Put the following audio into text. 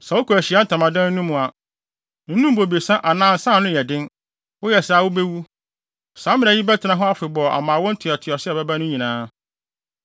“Sɛ wokɔ Ahyiae Ntamadan no mu a, nnom bobesa anaa nsa a ano yɛ den. Woyɛ saa a, wubewu. Saa mmara yi bɛtena hɔ afebɔɔ ama awo ntoatoaso a ɛbɛba no nyinaa,